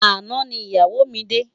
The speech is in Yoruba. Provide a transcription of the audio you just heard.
Àná ni iyáwó mi dé